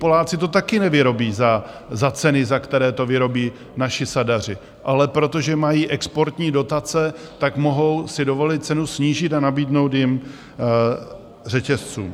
Poláci to také nevyrobí za ceny, za které to vyrobí naši sadaři, ale protože mají exportní dotace, tak mohou si dovolit cenu snížit a nabídnout ji řetězcům.